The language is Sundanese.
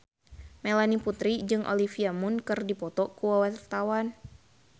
Melanie Putri jeung Olivia Munn keur dipoto ku wartawan